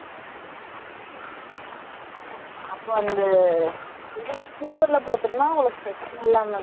அப்ப அந்த, இதுல sleeper ல போட்டிருந்தா, உங்களுக்கு பிரச்சனை இல்லாம இருந்திருக்கும் இல்ல?